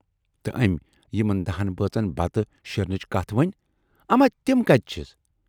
تہٕ ٲمۍ یِمن دٔہن بٲژن بتہٕ شیرنٕچ کتھ ؤنۍ، اَما تِم کتہِ چھِس؟